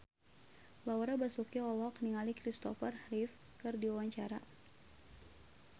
Laura Basuki olohok ningali Kristopher Reeve keur diwawancara